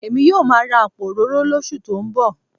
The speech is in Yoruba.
Èmi yóò máa ra àpò òróró lóṣù tó ń bọ̀